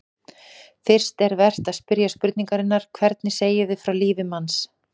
Fyrst er vert að spyrja spurningarinnar: hvernig segjum við frá lífi manns?